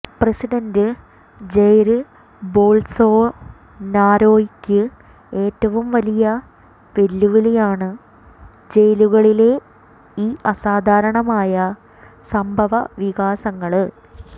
president Jair ബോള്സോനാരോയ്ക്ക് ഏറ്റവും വലിയ വെല്ലുവിളിയാണ് ജയിലുകളിലെ ഈ അസാധാരണമായ സംഭവവികാസങ്ങള്